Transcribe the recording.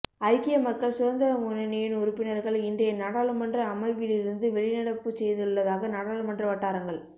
ஐக்கிய மக்கள் சுதந்திர முன்னணியின் உறுப்பினர்கள் இன்றைய நாடாளுமன்ற அமர்விலிருந்து வெளிநடப்புச் செய்துள்ளதாக நாடாளுமன்ற வட்டாரங்கள்